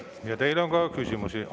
Ja teile on ka küsimusi.